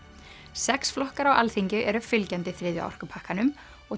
sex flokkar á Alþingi eru fylgjandi þriðja orkupakkanum og